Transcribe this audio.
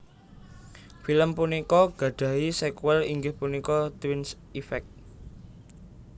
Film punika gadhahi sékuèl inggih punika Twins Effect